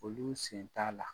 Olu sen t'a la.